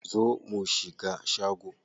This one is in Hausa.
Zo mu shiga shago.